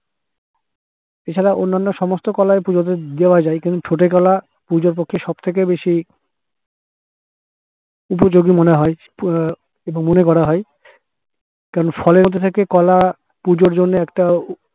এছাড়া অন্যান্য সমস্ত কলাই পূজোতে দেওয়া যায় কিন্তু ঠোঁটে কলা পুজোর পক্ষে সব থেকে বেশি উপযোগী মনে হয় আহ মনে করা হয় কেন ফলের মধ্যে থেকে কলা পুজোর জন্যে একটা